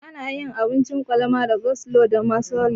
Ana yin abincin kwalama da coslo da mayonis.